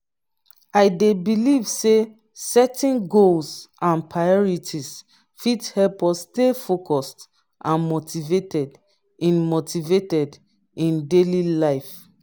i dey believe say setting goals and priorities fit help us stay focused and motivated in motivated in daily life.